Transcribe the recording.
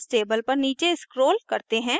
अब इस table पर नीचे scroll करते हैं